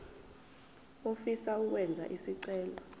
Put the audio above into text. ofisa ukwenza isicelo